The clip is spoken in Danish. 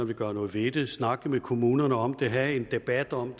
vil gøre noget ved snakke med kommunerne om have en debat om